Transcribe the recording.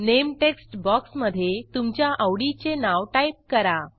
name text बॉक्समधे तुमच्या आवडीचे नाव टाईप करा